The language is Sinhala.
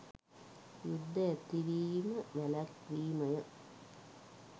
යුද්ධ ඇතිවිම වැළැක්වීමය